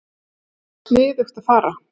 Það var sniðugt að fara í